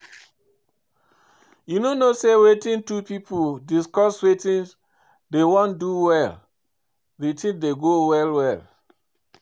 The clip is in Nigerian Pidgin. You no know say when two people discuss wetin dey wan do well the thing go go well